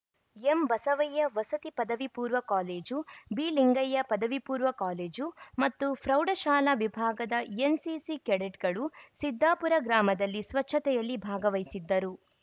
ಎಂಬಸವಯ್ಯ ವಸತಿ ಪದವಿ ಪೂರ್ವ ಕಾಲೇಜು ಬಿಲಿಂಗಯ್ಯ ಪದವಿ ಪೂರ್ವ ಕಾಲೇಜು ಮತ್ತು ಪ್ರೌಢಶಾಲಾ ವಿಭಾಗದ ಎನ್‌ಸಿಸಿ ಕೆಡೆಟ್‌ಗಳು ಸಿದ್ಧಾಪುರ ಗ್ರಾಮದಲ್ಲಿ ಸ್ವಚ್ಛತೆಯಲ್ಲಿ ಭಾಗವಹಿಸಿದ್ದರು